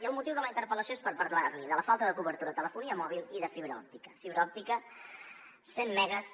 hi ha un motiu de la interpel·lació que és parlar li de la falta de cobertura de telefonia mòbil i de fibra òptica fibra òptica de cent megues